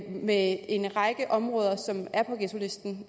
med en række områder som er på ghettolisten